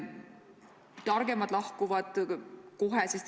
Targemad lahkuvad kohe.